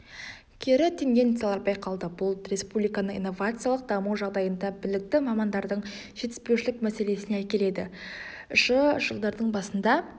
кері тенденциялар байқалды бұл республиканың инновациялық даму жағдайында білікті мамандардың жетіспеушілік мәселесіне әкеледі шы жылдардың басында